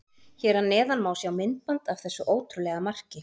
Hér að neðan má sjá myndband af þessu ótrúlega marki.